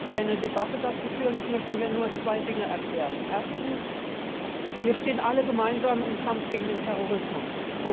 Ich will auch keine Debatte dazu führen, ich möchte hier nur zwei Dinge erklären. Erstens Wir stehen alle gemeinsam im Kampf gegen den Terrorismus.